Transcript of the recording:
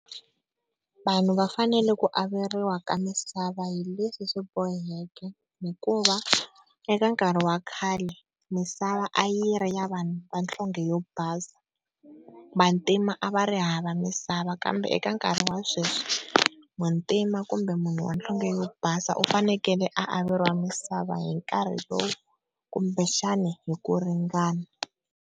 Vanhu va fanele ku averiwa ka misava hi leswi swi boheke hikuva eka nkarhi wa khale misava a yi ri ya vanhu va nhlonge yo basa, vantima a va ri hava misava kambe eka nkarhi wa sweswi muntima kumbe munhu wa nhlonge yo basa u fanekele a averiwa misava hi nkarhi lowu kumbe xana hi ku ringana.